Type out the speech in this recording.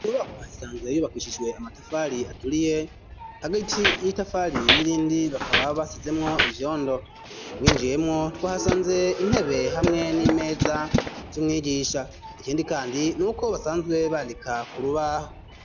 Iyubakuhay isanzwe yayubakishishwe amatafari aturiye hagaiti y'itafari n'irindi bakaba basizemwo ivyondo winjiyemwo two hasanze intebe hamwe n'imeza z'umwigisha ikindi, kandi niuko basanzwe bandika ku rubaho.